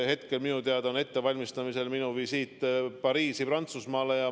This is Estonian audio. Hetkel on minu teada ettevalmistamisel minu visiit Pariisi, Prantsusmaale.